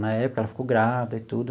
Na época ela ficou grávida e tudo,